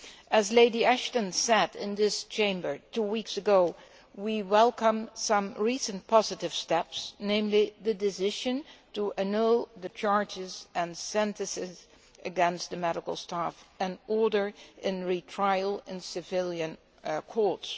As Lady Ashton said in this Chamber two weeks ago, we welcome some recent positive steps, namely the decision to annul the charges and sentences against the medical staff and order a retrial in civilian courts.